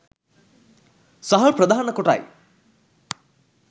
සහල් ප්‍රධාන කොටයි.